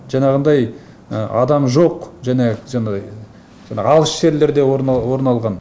жаңағындай адам жоқ және алыс жерлерде орын алған